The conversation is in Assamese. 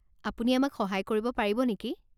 আপুনি আমাক সহায় কৰিব পাৰিব নেকি?